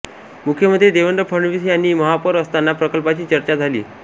मुख्यमंत्री देवेंद्र फडणवीस यांनी महापौर असताना प्रकल्पाची चर्चा झाली